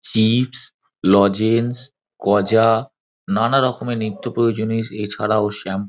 chips lozenges গজা নানা রকমের নিত্য প্রয়োজনীয় এছাড়াও শ্যাম্--